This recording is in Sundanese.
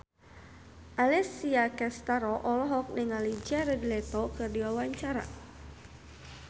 Alessia Cestaro olohok ningali Jared Leto keur diwawancara